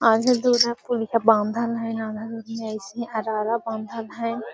आधा दूर हेय बांधल हेय आधा दूर में एसने अरारा बांधल हेय।